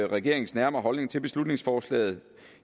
regeringens nærmere holdning til beslutningsforslaget